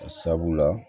Sabula